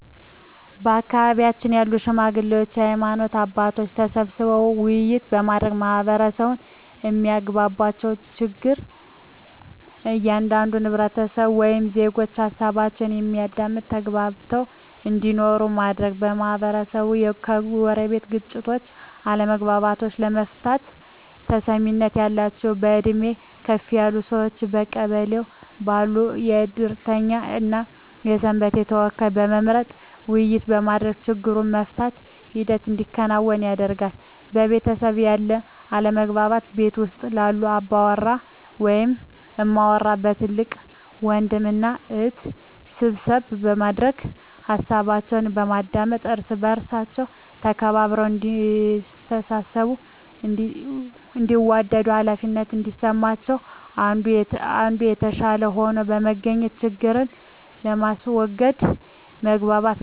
በአካባቢው ባሉ ሽማግሌዎች በሀይማኖት አባቶች ተሰብስበው ውይይት በማድረግ ማህበረሰቡ የማያግባባቸውን ችግር ከእያንዳንዱ ህብረተሰብ ወይም ዜጎች ሀሳባቸውን በማዳመጥ ተግባብተው እንዲኖሩ ማድረግ, የማህበረሰቡን የጎረቤት ግጭቶችን አለመግባባቶችን ለመፍታት ተሰሚነት ያላቸውን በእድሜ ከፍ ያሉ ሰዎችን በቀበሌው ባሉ የእድርተኛ እና የሰንበቴ ተወካዮችን በመምረጥ ውይይት በማድረግ ችግሩን የመፍታት ሂደት እንዲከናወን ያደርጋሉ። በቤተሰብ ያሉ አለመግባባቶችን ቤት ውስጥ ባሉ አባወራ ወይም እማወራ በታላቅ ወንድም እና እህት ስብሰባ በማድረግ ሀሳባቸውን በማዳመጥ እርስ በእርስ ተከባብረው እዲተሳሰቡ እንዲዋደዱ ሃላፊነት እንዲሰማቸው አንዱ ከአንዱ የተሻለ ሆኖ በመገኘት ችግርን በማስዎገድ መግባባትን መፍጠር።